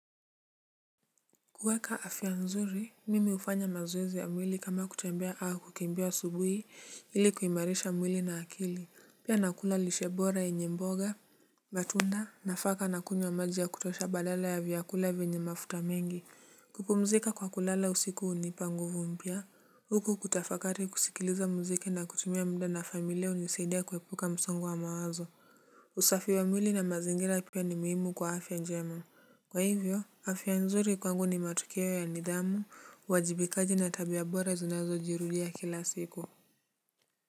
Kuweka afya nzuri, mimi hufanya mazoezi ya mwili kama kutembea au kukimbia asubuhi ili kuimarisha mwili na akili, pia nakula lishe bora yenye mboga, matunda, nafaka nakunywa maji ya kutosha badala ya vyakula vyenye mafuta mengi, kupumzika kwa kulala usiku hunipa nguvu mpya, huku kutafakari kusikiliza muziki na kutumia muda na familia hunisaidia kuepuka msongo wa mawazo, usafi wa mwili na mazingira pia ni muhimu kwa afya njema, kwa hivyo, afya nzuri kwangu ni matukio ya nidhamu uwajibikaji na tabia bora zinazojirudia kila siku.